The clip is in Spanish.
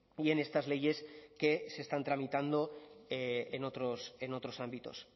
y en estas leyes que se están tramitando en otros en otros ámbitos